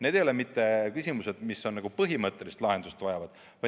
Need ei ole mitte küsimused, mis nagu põhimõttelist lahendust vajavad.